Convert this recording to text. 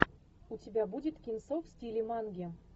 у тебя будет кинцо в стиле манги